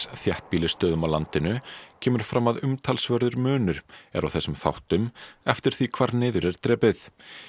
þéttbýlisstöðum á landinu kemur fram að umtalsverður munur er á þessum þáttum eftir því hvar niður er drepið